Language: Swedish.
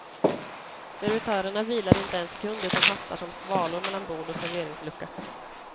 Servitörerna vilar inte en sekund utan hastar som svalor mellan bord och serveringslucka.